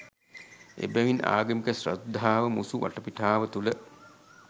එබැවින් ආගමික ශ්‍රද්ධාව මුසු වටපිටාව තුළ